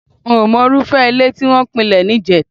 Mí ò mọ irúfẹ́ ilé tí wọ́n pilẹ̀ níjẹta